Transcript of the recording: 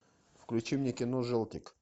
включи мне кино желтик